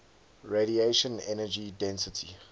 radiation energy density